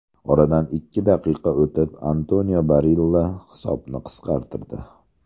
Oradan ikki daqiqa o‘tib, Antonio Barilla hisobni qisqartirdi.